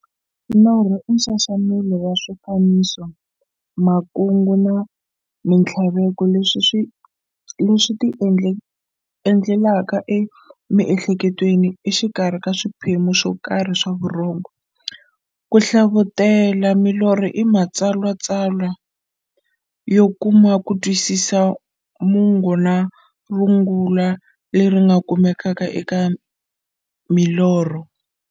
Norho i nxaxamelo wa swifaniso, makungu na minthlaveko leswi ti endlekelaka emiehleketweni exikarhi ka swiphemu swokarhi swa vurhongo. Ku hlavutela milorho i matshalatshala yo kuma kutwisisa mungo na rungula leri nga kumekaka eka milorho.